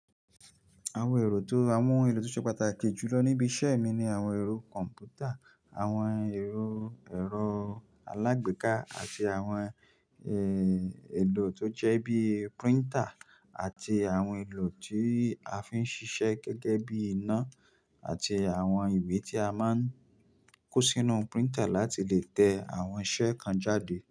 Àwọn èrò tó, àwọn èrò tó ṣe pàtàkì jù lọ níbi iṣẹ́ mi ni àwọn ẹ̀rọ kọ̀m̀pútà, àwọn ẹ̀rọ, ẹ̀rọ alágbèéká àti àwọn, eh, èrò tó jẹ́ bí printer àti àwọn èrò tí a fi ń ṣiṣẹ́ gẹ́gẹ́ bí iná àti àwọn ìwé tí a máa ń kó sínú printer láti lè tẹ àwọn iṣẹ́ kan jáde.